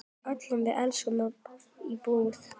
Öll við verslum í búð.